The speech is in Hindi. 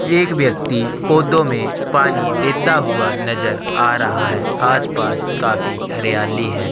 एक व्यक्ति पौधों में पानी देता हुआ नजर आ रहा है आसपास काफी हरियाली है।